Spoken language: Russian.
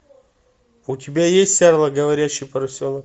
у тебя есть арло говорящий поросенок